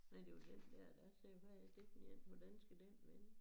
Nej det var den dér der sagde hvad er det for én hvordan skal den vende